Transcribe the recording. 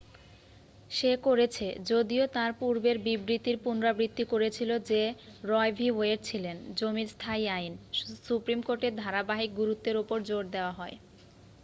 "সে করেছে যদিও তার পূর্বের বিবৃতির পুনরাবৃত্তি করেছিল যে রয় ভি ওয়েড ছিলেন "জমির স্থায়ী আইন" সুপ্রিম কোর্টের ধারাবাহিক গুরুত্বের ওপর জোর দেয়া হয় ।